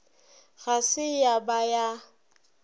ga se ya ba ya